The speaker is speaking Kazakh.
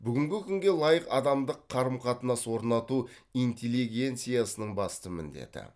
бүгінгі күнге лайық адамдық қарым қатынас орнату интеллигенциясының басты міндеті